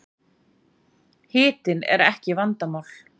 Hitinn er ekki vandamál